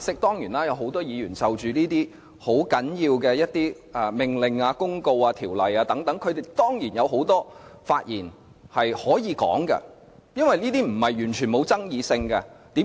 當然，有很多議員就着這些很重要的命令、公告、條例等，的確要作出很多發言，因為這些並非毫無爭議性。